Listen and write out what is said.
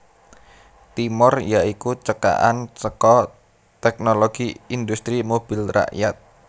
Timor ya iku cekakan saka Teknologi Industri Mobil Rakyat